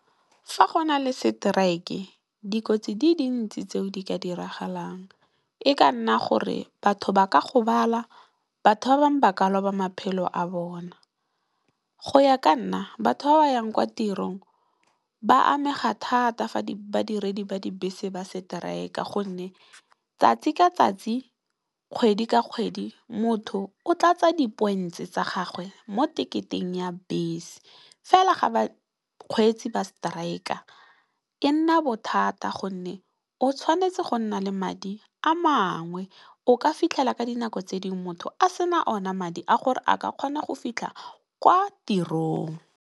Fa go na le seteraeke dikotsi di dintsi tseo di ka diragalang e ka nna gore batho ba ka gobala, batho ba bangwe ba ka loba maphelo a bona. Go ya ka nna batho ba ba yang kwa tirong ba amega thata fa badiredi ba dibese ba seteraeka gonne, tsatsi ka tsatsi, kgwedi ka kgwedi motho o tlatsa di points tsa gagwe mo teketeng ya bese. Fela ga ba kgweetsi ba seteraeka e nna bothata gonne o tshwanetse go nna le madi a mangwe o ka fitlhela ka dinako tse dingwe motho a sena one madi a gore a ka kgona go fitlha kwa tirong.